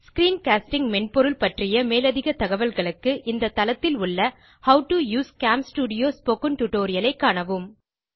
screencasting மென்பொருள் பற்றிய மேலதிக தகவல்களுக்கு இந்த தளத்தில் உள்ள how to use CamStudio spoken tutorial ஐ காணவும்